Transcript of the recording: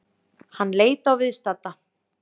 Hann leit á viðstadda.